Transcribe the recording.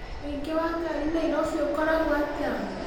ũingĩ wa ngari nairobi ũkoragwo atĩa